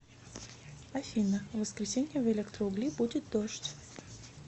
афина в воскресенье в электроугли будет дождь